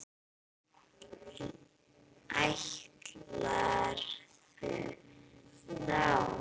Ætlarðu þá?